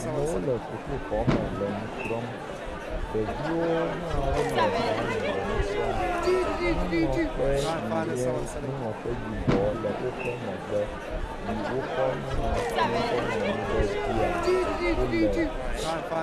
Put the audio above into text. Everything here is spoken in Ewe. Amewo le sukuxɔme le nu srɔ̃m. Ɖeviwo hã wo le xɔa me le nu srɔ̃m. Nuŋlɔkpe yi nye nuŋlɔkpe yibɔ le woƒe megbe yi wokɔ nuŋlɔti kɔ ŋlɔ nu ɖe dzia wo le.